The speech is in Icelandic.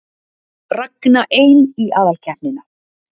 Ragna ein í aðalkeppnina